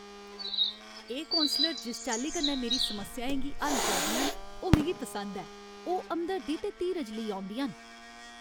एह् कौंसलर जिस चाल्ली कन्नै मेरी समस्याएं गी हल करदियां न, ओह् मिगी पसंद ऐ। ओह् हमदर्दी ते धीरज लेई औंदियां न।